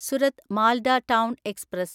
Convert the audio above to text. Surat Malda town express